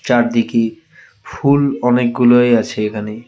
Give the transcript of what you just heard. চারদিকে ফুল অনেকগুলোই আছে এখানে .